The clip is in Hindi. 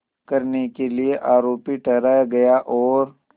करने के लिए आरोपी ठहराया गया और